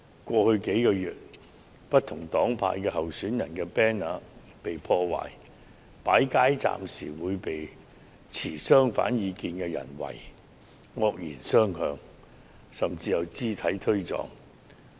過去數個月，不同黨派候選人的 banner 曾被破壞，設街站時遭持相反意見的人"圍"、惡言相向，甚至發生肢體碰撞。